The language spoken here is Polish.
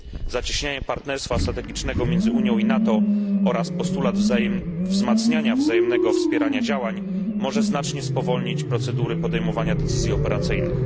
Zacieśnianie partnerstwa strategicznego pomiędzy Unią i NATO oraz postulat wzmacniania wzajemnego wspierania działań, może znacznie spowolnić procedury podejmowania decyzji operacyjnych.